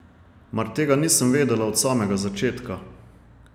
Mar tega nisem vedela od samega začetka?